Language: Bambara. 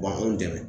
U b'an dɛmɛ